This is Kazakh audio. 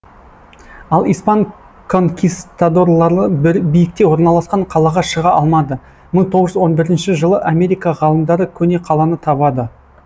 ал испан конкисдаторлары бір биікте орналасқан қалаға шыға алмады мың тоғыз жүз он бірінші жылы америка ғалымдары көне қаланы табады